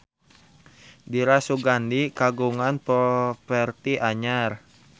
Dira Sugandi kagungan properti anyar